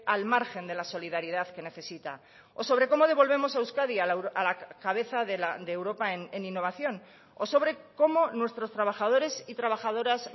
al margen de la solidaridad que necesita o sobre cómo devolvemos a euskadi a la cabeza de europa en innovación o sobre cómo nuestros trabajadores y trabajadoras